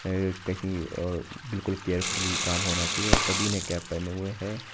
बिल्कुल केयरफुली काम होना चाहिए और सभी ने कैप पहने हुए है।